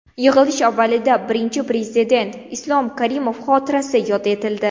Yig‘ilish avvalida Birinchi Prezident Islom Karimov xotirasi yod etildi.